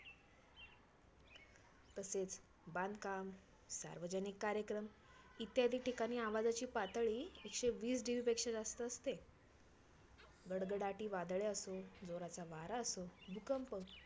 तसेच बांधकाम, सार्वजनिक कार्यक्रम, इत्यादि ठिकाणी आवाजाची पातळी एकशे वीस DB पेक्षा जास्त असते. गडगडाटी वादळे असो, जोराचा वारा असो, भूकंप